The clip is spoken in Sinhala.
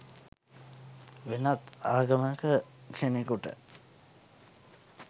වෙනත් ආගමක කෙනෙකුට